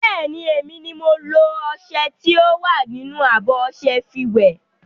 Bẹ́ẹ̀ni, emi ni mo lo ọṣẹ tí ó wà nínú abọ́ ọṣẹ fi wẹ̀.